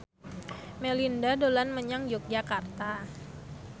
Melinda dolan menyang Yogyakarta